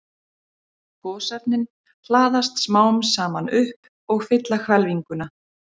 Gosefnin hlaðast smám saman upp og fylla hvelfinguna.